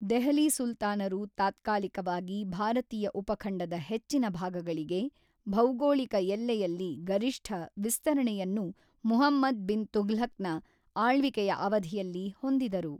ದೆಹಲಿ ಸುಲ್ತಾನರು ತಾತ್ಕಾಲಿಕವಾಗಿ ಭಾರತೀಯ ಉಪಖಂಡದ ಹೆಚ್ಚಿನ ಭಾಗಗಳಿಗೆ, ಭೌಗೋಳಿಕ ಎಲ್ಲೆಯಲ್ಲಿ ಗರಿಷ್ಠ, ವಿಸ್ತರಣೆಯನ್ನು ಮುಹಮ್ಮದ್ ಬಿನ್ ತುಘ್ಲಕನ ಆಳ್ವಿಕೆಯ ಅವಧಿಯಲ್ಲಿ ಹೊಂದಿದರು.